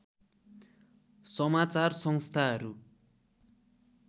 समाचार संस्थाहरू